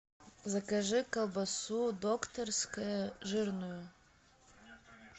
закажи колбасу докторская жирную